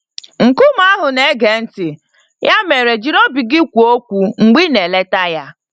Nkume ahụ na-ege ntị - ya mere jiri obi gị kwuo okwu mgbe ị na-eleta ya.